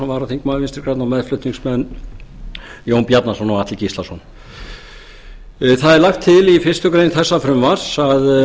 varaþingmaður vinstri grænna og meðflutningsmenn jón bjarnason og atli gíslason það er lagt til í fyrstu grein þessa frumvarp að